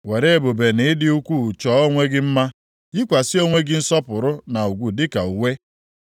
Were ebube na ịdị ukwuu chọọ onwe gị mma, yikwasịkwa onwe gị nsọpụrụ na ugwu dịka uwe.